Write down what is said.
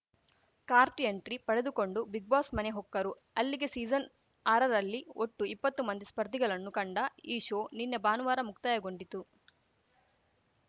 cart entry ಪಡೆದುಕೊಂಡು big boss ಮನೆ ಹೊಕ್ಕರು ಅಲ್ಲಿಗೆ ಸೀಸನ್‌ಆರರಲ್ಲಿ ಒಟ್ಟು ಇಪ್ಪತ್ತು ಮಂದಿ ಸ್ಪರ್ಧಿಗಳನ್ನು ಕಂಡ ಈ ಶೋ ನಿನ್ನೆ ಭಾನುವಾರ ಮುಕ್ತಾಯಗೊಂಡಿತು